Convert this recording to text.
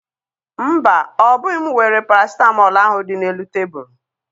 Mba, ọ bụghị m weere parasịtamọọl ahụ dị n'elu tebulu.